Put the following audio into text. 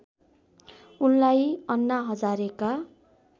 उनलाई अन्ना हजारेका